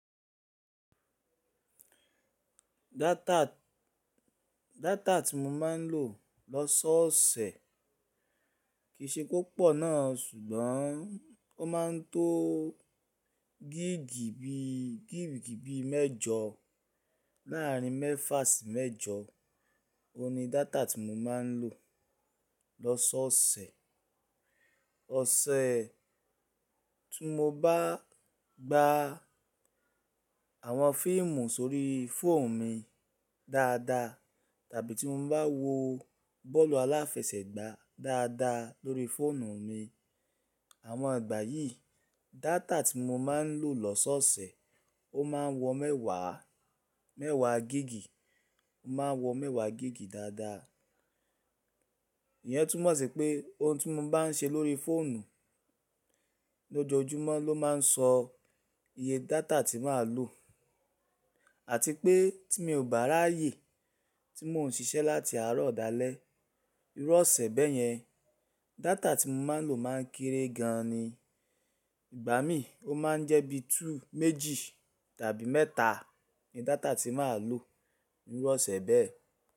Data tí mo máa ń lò lọ́sọ́ ọ̀sẹ̀ kì í ṣe pé ọpọ náà, ṣùgbọ́n ó máa ń tó gig bi, gig bi mẹ́jọ láàárín mẹ́fà sí mẹ́jọ, ó ní data tí mo máa ń lò lọ́sọ́ ọ̀sẹ̀. Ọ̀sẹ̀ tí mo bá gba àwọn fíìmù sórí fóònù mi dáadáa tàbí tí mo bá wo bọ́ọ̀lù aláfẹsẹ̀gbá dáadáa lórí fóònù mi, àwọn ìgbà yìí data tí mo máa ń lò lọ́sọ́ ọ̀sẹ̀ ó máa wọ mẹ́wàá, mẹ́wàá gigi, ó máa wọ mẹ́wàá gigi dáadáa. Ìyẹn túmọ̀ sí pé ohun tí mo bá ń ṣe lórí fóònù lójoojúmọ́ ló máa ń sọ iye data tí màá lò. Àti pé tí mi ò bá ráyè tí mò ń ṣiṣẹ́ láti àárọ̀ dálẹ̀, irú ọ̀sẹ̀ bẹ́ẹ̀ yẹn data tí mo máa ń lò máa ń kéré gan ni. Igbà mí ó máa ń jẹ́ bíi méjì, méjì tàbí mẹ́ta ni data tí màá lò irú ọ̀sẹ̀ bẹ́ẹ̀.